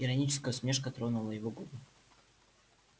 ироническая усмешка тронула его губы